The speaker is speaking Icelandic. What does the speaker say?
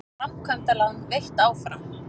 Framkvæmdalán veitt áfram